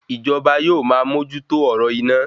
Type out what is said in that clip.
Ìjọba yóò ma mójú tó ọ̀rọ̀ iná